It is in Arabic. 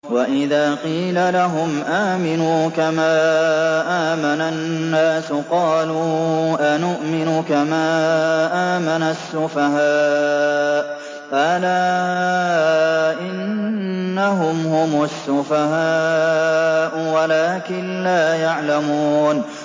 وَإِذَا قِيلَ لَهُمْ آمِنُوا كَمَا آمَنَ النَّاسُ قَالُوا أَنُؤْمِنُ كَمَا آمَنَ السُّفَهَاءُ ۗ أَلَا إِنَّهُمْ هُمُ السُّفَهَاءُ وَلَٰكِن لَّا يَعْلَمُونَ